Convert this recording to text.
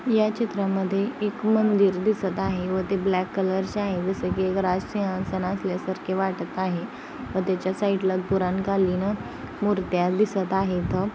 या चित्रा मधे एक मंदिर दिसत आहे व ते ब्लॅक कलरचे आहे. जस की एक राज सिंहासन असल्या सारखे वाटत आहे व त्याच्या साइड ला पुराण कालीन मूर्त्या दिसत आहेत.